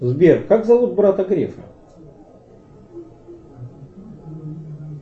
сбер как зовут брата грефа